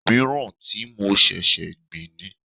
Òmíràn tí mo ṣẹ̀ṣẹ̀ gbìn ni.